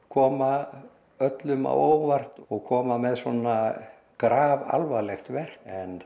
koma öllum á óvart og koma með svona grafalvarlegt verk en